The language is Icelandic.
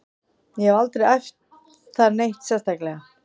Ég hef aldrei æft það neitt sérstaklega.